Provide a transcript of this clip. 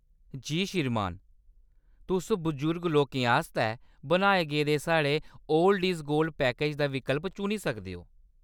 जी श्रीमान। तुस बजुर्ग लोकें आस्तै बनाए गेदे साढ़े 'ओल्ड इज गोल्ड' पैकेज दा विकल्प चुनी सकदे ओ।